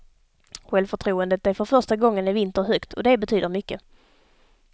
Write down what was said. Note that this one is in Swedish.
Självförtroendet är för första gången i vinter högt och det betyder mycket.